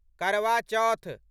करवा चौथ